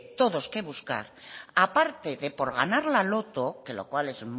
todos que buscar aparte de por ganar la loto que lo cual es